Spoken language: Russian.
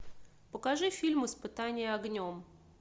покажи фильм испытание огнем